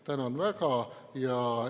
Tänan väga!